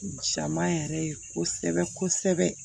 Jama yɛrɛ ye kosɛbɛ kosɛbɛ